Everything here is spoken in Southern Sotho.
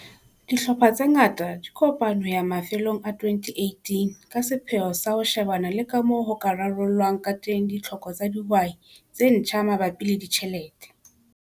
Dihlopha tse ngata di kopane ho ya mafelong a 2018 ka sepheo sa ho shebana le ka moo ho ka rarollwang ka teng ditlhoko tsa dihwai tse ntjha mabapi le ditjhelete.